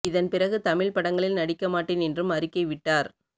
இதன் பிறகு தமிழ் படங்களில் நடிக்க மாட்டேன் என்றும் அறிக்கை விட்டார்